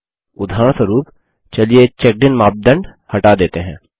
उदाहरणस्वरुप चलिए checked in मापदंड हटा देते हैं